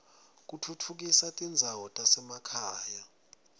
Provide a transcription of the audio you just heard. kutfutfukisa tindzawo tasemakhaya